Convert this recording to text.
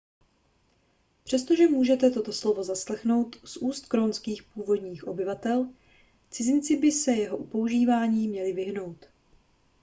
přestože můžete toto slovo zaslechnout z úst grónských původních obyvatel cizinci by se jeho používání měli vyhnout